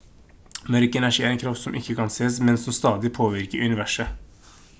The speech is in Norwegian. mørk energi er en kraft som ikke kan sees men som stadig påvirker universet